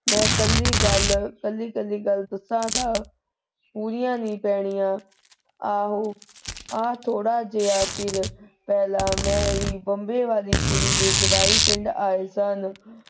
ਮੈਂ ਕੱਲੀ ਗਲ ਕੱਲੀ ਕੱਲੀ ਗਲ ਦੱਸਾਂ ਤਾਂ ਪੂਰੀਆਂ ਨੀ ਪੈਣੀਆਂ। ਆਹੋ ਆ ਥੋੜਾ ਜਿਹਾ ਚਿਰ ਪਹਿਲਾ ਮਮੇਰੀ ਬੰਬੇ ਆਲੀ ਕੁੜੀ ਦੇ ਜਵਾਈ ਪਿੰਡ ਆਏ ਸਨ।